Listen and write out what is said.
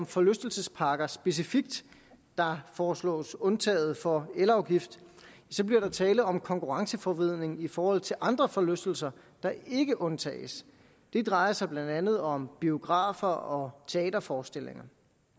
forlystelsesparker specifikt der foreslås undtaget fra elafgift bliver der tale om konkurrenceforvridning i forhold til andre forlystelser der ikke undtages det drejer sig blandt andet om biograf og teaterforestillinger